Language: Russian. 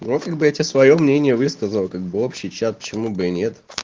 вот когда я тебе своё мнение высказал как бы общий чат почему бы и нет